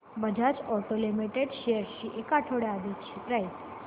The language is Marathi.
बजाज ऑटो लिमिटेड शेअर्स ची एक आठवड्या आधीची प्राइस